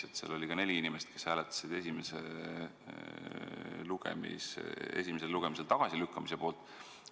Seal oli ka neli inimest, kes hääletas eelnõu esimesel lugemisel tagasilükkamise poolt.